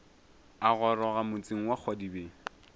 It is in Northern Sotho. a goroga motseng wa kgwadibeng